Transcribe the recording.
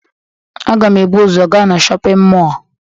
Aga m ebu ụzọ gaa na shọpịn mọọ